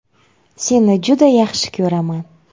Seni juda yaxshi ko‘raman.